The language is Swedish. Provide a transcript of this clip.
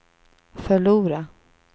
förlora